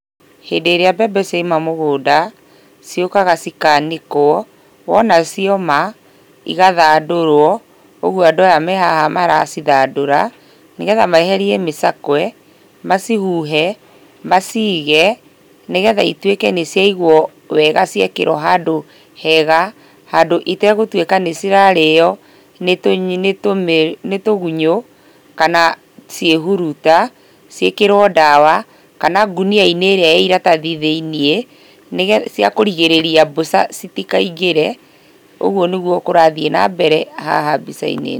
Hĩndĩ ĩrĩa mbembe ciauma mũgũnda, ciũkaga cikanĩkwo, wona ciaũma, igathandũrwo, ũguo andũ aya me haha maracithandũra, nĩ getha meherie mĩcakwe, macihuhe, macige, nĩgetha ituĩke nĩciaigwo wega ciekĩrwo handũ hega, handũ itegũtuĩka nĩcirarĩo nĩtũ, nĩtũmĩ, nĩtũgunyũ kana ciĩhuruta, ciĩkĩrwo ndawa kana ngũnia-inĩ ĩrĩa ĩ iratathi thĩiniĩ, nĩgetha ciakũrigĩrĩria mbũca citikaingĩre. Ũguo nĩguo kũrathiĩ na mbere haha mbica-inĩ.